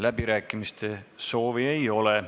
Läbirääkimiste soovi ei ole.